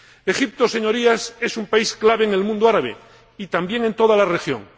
Egipto, Señorías, es un país clave en el mundo árabe y también en toda la región.